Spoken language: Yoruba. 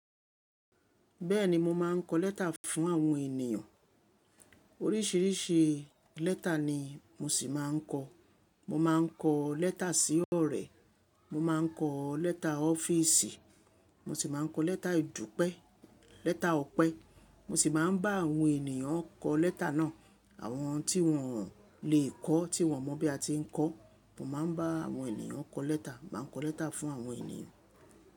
Bẹ́ẹ̀ni mo máa ń kọ lẹ́tà fún àwọn ènìyàn. Oríṣìíríṣìí lẹ́tà ni mo ṣì máa ń kọ. Mo máa ń kọ lẹ́tà sí ọ̀rẹ́, mo máa ń kọ lẹ́tà ọ́fíìsì, mo ṣì máa ń kọ lẹ́tà ìdúpẹ́, lẹ́tà ọpẹ́. Mo ṣì máa ń bá àwọn ènìyàn kọ lẹ́tà náà, àwọn tí wọn ò lè kọ́ tí wọ́n mọ̀ bí a ti ń kọ. Mo máa ń bá àwọn ènìyàn kọ lẹ́tà. Mo máa ń kọ lẹ́tà fún àwọn ènìyàn.